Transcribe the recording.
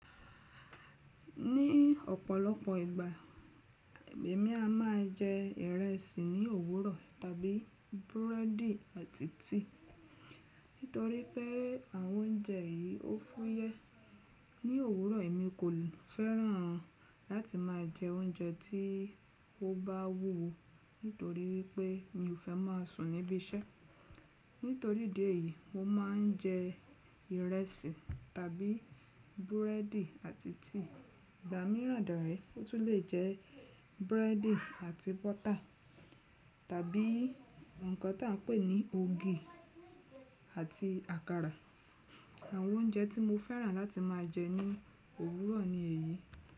Ní ọ̀pọ̀lọpọ̀ ìgbà, èmi a ma jẹ ìrẹsì ní òwúrọ̀ tàbí búrẹ́dì àti tea Nítorí pé àwọn oúnjẹ yìí ó fúyẹ́. Ní òwúrọ̀, èmi kò fẹ́ràn láti ma jẹ oúnjẹ tí ó bá wúwo nítorí wípé mi ò fẹ́ mọn sùn níbí iṣẹ́. Nítorí idi èyí, mo mọn jẹ ìrẹsì tàbí búrẹ́dì àti tea Ìgbà míràn dàre, ó tún le jẹ búrẹ́dì àti bọ́tà tàbí ǹkan tí à n pè ní ogi àti àkàrà. Àwọn oúnjẹ tí mo fẹ́ràn láti ma jẹ ní òwúrọ̀ ni èyí.